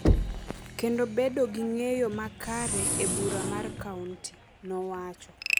kendo bedo gi ng’eyo makare e bura mar kaonti,” nowacho.